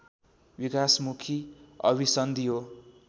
विकासमुखी अभिसन्धि हो